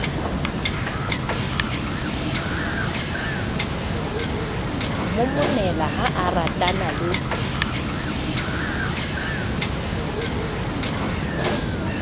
momonela ha a ratana le